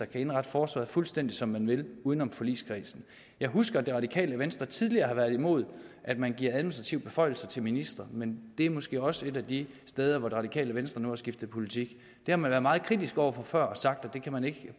kan indrette forsvaret fuldstændig som man vil uden om forligskredsen jeg husker at det radikale venstre tidligere har været imod at man giver administrative beføjelser til ministre men det er måske også et af de steder hvor det radikale venstre har skiftet politik det har man været meget kritiske over for før og sagt at man ikke